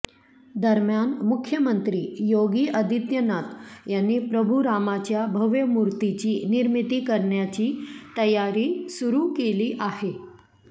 दरम्यान मुख्यमंत्री योगी आदित्यनाथ यांनी प्रभू रामाच्या भव्य मूर्तीची निर्मिती करण्याची तयारी सुरु केली आहे